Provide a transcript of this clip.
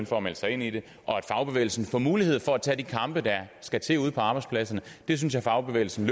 for at melde sig ind ind og at fagbevægelsen får mulighed for at tage de kampe der skal til ude på arbejdspladserne det synes jeg fagbevægelsen